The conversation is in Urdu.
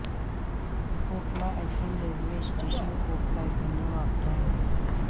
کوٹلہ عیسن ریلوے اسٹیشن کوٹلہ عیسن میں واقع ہے